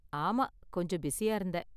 ஆமா, கொஞ்சம் பிஸியா இருந்தேன்.